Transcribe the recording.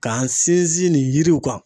K'an sinsin nin yiriw kan.